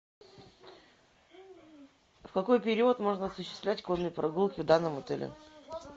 в какой период можно осуществлять конные прогулки в данном отеле